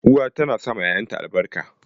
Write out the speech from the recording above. Uwa tana sawa ƴaƴanta albarka.